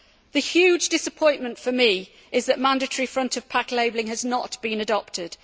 The huge disappointment for me is that mandatory front of pack labelling has not been adopted.